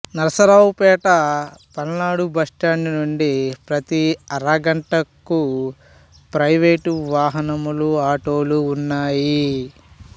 Narasaraopet Palnadu bus stand నుండి ప్రతి అరగంటకు ప్రైవెటు వాహనములు ఆటోలు ఉన్నాయి